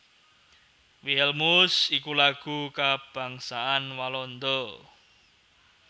Wilhelmus iku Lagu kabangsan Walanda